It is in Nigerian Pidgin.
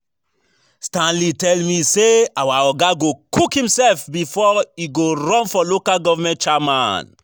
Stanley tell me say our oga go cook himself before e go run for local government chairman